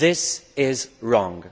This is wrong.